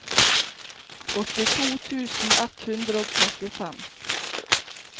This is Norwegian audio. åttito tusen ett hundre og trettifem